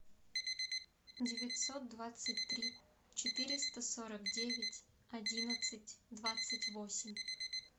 девятьсот двадцать три четыреста сорок девять одиннадцать двадцать восемь